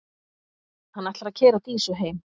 Hann ætlar að keyra Dísu heim.